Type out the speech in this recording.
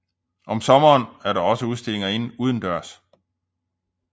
Om sommeren er der også udstillinger udendørs